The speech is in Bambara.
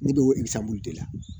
Ne bɛ bɔ de la